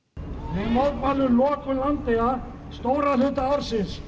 við mótmælum lokun Landeyja stóran hluta ársins